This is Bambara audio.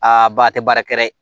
Aa ba a tɛ baara kɛ dɛ